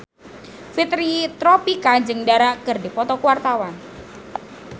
Fitri Tropika jeung Dara keur dipoto ku wartawan